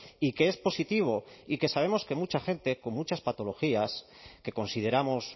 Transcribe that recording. y que es positivo y que sabemos que mucha gente con muchas patologías que consideramos